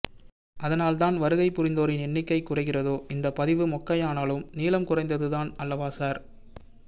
அதனால் தான் வருகை புரிந்தோரின் எண்ணிக்கை குறைகிறதோ இந்தப் பதிவு மொக்கைஉயானாலும் நீளம்குறைந்ததுதான் அல்லவா சார்